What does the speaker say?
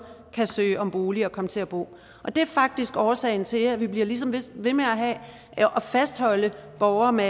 kan søge om bolig og komme til at bo og det er faktisk årsagen til at vi ligesom bliver ved med at fastholde borgere med